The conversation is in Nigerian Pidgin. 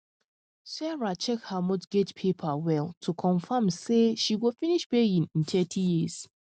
sarah check her mortgage paper well to confirm say she go finish paying in thirty years